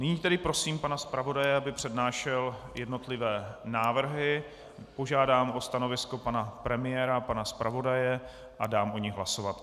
Nyní tedy prosím pana zpravodaje, aby přednášel jednotlivé návrhy, požádám o stanovisko pana premiéra, pana zpravodaje a dám o nich hlasovat.